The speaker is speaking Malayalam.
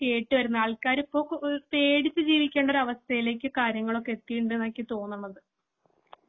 ഇപ്പോ കേട്ട് വരുന്നത്. ആൾക്കാര് ഇപ്പോ പേടിച്ച് ജീവിക്കേണ്ട അവസ്ഥയിലേക്ക് കാര്യങ്ങൾ എത്തി എന്നാണ് എനിക്ക് തോന്നുന്നത്.